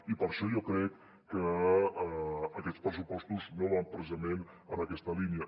i per això jo crec que aquests pressupostos no van precisament en aquesta línia